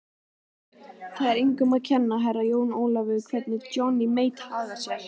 Það er engum að kenna, Herra Jón Ólafur, hvernig Johnny Mate hagar sér.